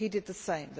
He did the same.